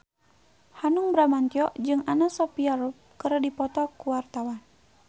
Hanung Bramantyo jeung Anna Sophia Robb keur dipoto ku wartawan